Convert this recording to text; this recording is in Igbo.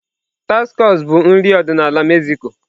Tacos bụ nri ọdịnala ndi Mexico.